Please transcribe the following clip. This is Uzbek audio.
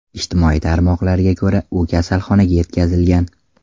Ijtimoiy tarmoqlarga ko‘ra, u kasalxonaga yetkazilgan.